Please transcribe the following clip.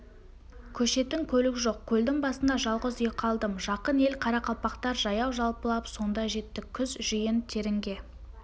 көшетін көлік жоқ көлдің басында жалғыз үй қалдым жақын ел қарақалпақтар жаяу-жалпылап сонда жеттік күз жиын-терінге